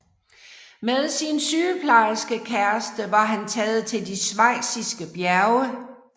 Med sin sygeplejerskekæreste var han taget til de schweiziske bjerge